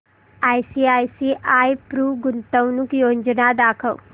ICICI Pru गुंतवणूक योजना दाखव